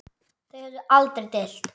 Þau höfðu aldrei deilt.